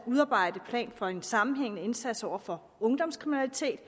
udarbejde en plan for en sammenhængende indsats over for ungdomskriminalitet